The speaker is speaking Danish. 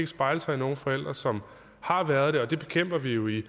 spejle sig i nogle forældre som har været og det bekæmper vi jo i